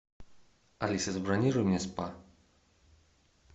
алиса забронируй мне спа